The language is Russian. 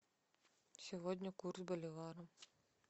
сегодня курс боливара